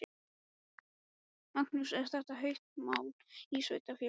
Magnús: Er þetta heitt mál í sveitarfélaginu?